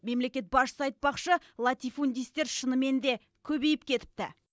мемлекет басшысы айтпақшы латифундистер шынымен де көбейіп кетіпті